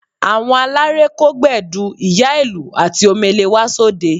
Àwọn aláré kó Gbẹ̀du, ìyá-ìlù àti Omele wá sóde